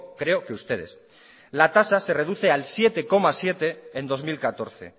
creo que ustedes la tasa se reduce al siete coma siete en dos mil catorce